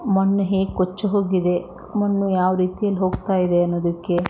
ಮಣ್ಣು ಹೇಗೆ ಕೊಚ್ಚಿ ಹೋಗಿದೆ ಮಣ್ಣು ಯಾವ ರೀತಿ ಹೋಗ್ತಾ ಇದೆ ಅಂದ್ರೆ--